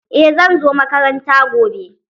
Eh zan zo makaranta gobe.